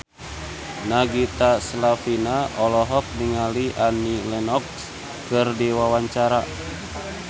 Nagita Slavina olohok ningali Annie Lenox keur diwawancara